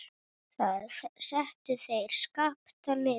Þar settu þeir Skapta niður.